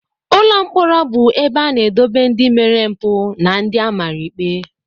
Ụlọ mkpọrọ bu ebe a na edobe ndi mere mpu na ndi amara ikpe.